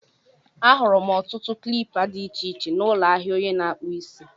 Ahụrụ m ọtụtụ ụdị klipa dị iche iche n'ụlọ ahịa onye na-akpụ isi.